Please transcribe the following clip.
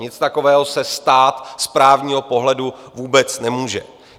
Něco takového se stát z právního pohledu vůbec nemůže.